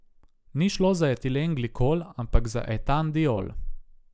Ni šlo za etilen glikol, ampak za etandiol.